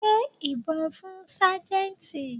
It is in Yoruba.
Gbé ìbọn fún Sájẹ́ntì.